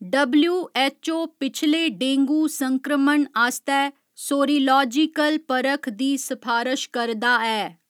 W . H . O . पिछले dengue संक्रमण आस्तै सीरोलाजिकल परख दी सफारश करदा ऐ